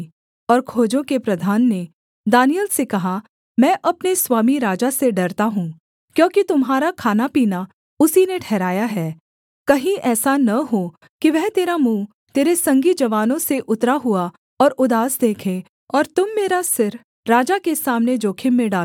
और खोजों के प्रधान ने दानिय्येल से कहा मैं अपने स्वामी राजा से डरता हूँ क्योंकि तुम्हारा खानापीना उसी ने ठहराया है कहीं ऐसा न हो कि वह तेरा मुँह तेरे संगी जवानों से उतरा हुआ और उदास देखे और तुम मेरा सिर राजा के सामने जोखिम में डालो